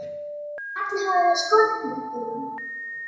Ætli Halla hafi verið skotin í einhverjum?